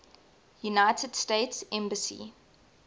united states embassy